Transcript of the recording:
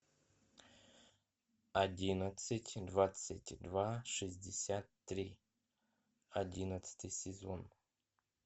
одиннадцать двадцать два шестьдесят три одиннадцатый сезон